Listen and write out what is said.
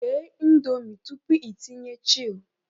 Ghe Indomie tupu ịtinye chil